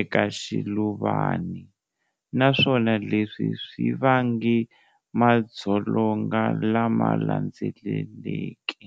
eka xiluvani, naswona leswi swi vange madzolonga lama landzeleke.